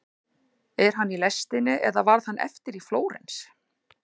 Er hann í lestinni eða varð hann eftir í Flórens?